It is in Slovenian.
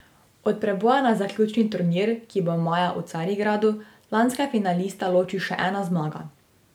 Od preboja na zaključni turnir, ki bo maja v Carigradu, lanska finalista loči še ena zmaga.